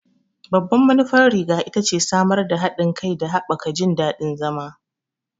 Babban manufar riga ita ce samar da haɗin kai da haɓaka jin daɗin zama.